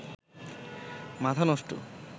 মাথা নষ্ট